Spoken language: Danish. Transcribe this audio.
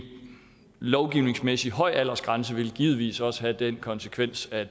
lovgivningsmæssig høj aldersgrænse ville givetvis også have den konsekvens at